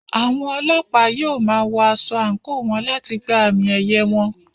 Àwọn Ọlọ́pàá yóò máa wọ aṣọ àǹkóò wọn láti gba àmì-ẹ̀yẹ wọn.